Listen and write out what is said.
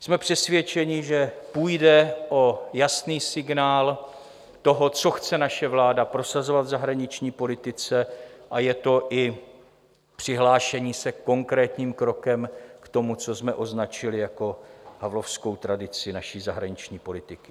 Jsme přesvědčeni, že půjde o jasný signál toho, co chce naše vláda prosazovat v zahraniční politice, a je to i přihlášení se konkrétním krokem k tomu, co jsme označili jako havlovskou tradici naší zahraniční politiky.